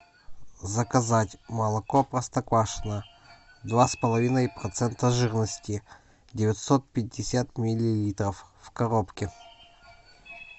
заказать молоко простоквашино два с половиной процента жирности девятьсот пятьдесят миллилитров в коробке